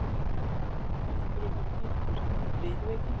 Af hverju fá kindur riðuveiki?